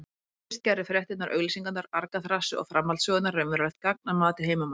Þá fyrst gerðu fréttirnar, auglýsingarnar, argaþrasið og framhaldssögurnar raunverulegt gagn að mati heimamanna.